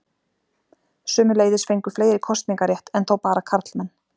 Sömuleiðis fengu fleiri kosningarétt, enn þó bara karlmenn.